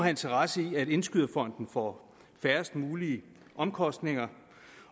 interesse i at indskyderfonden får færrest mulige omkostninger